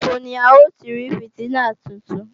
Níbo ni à ó ti rí fìtílà tuntun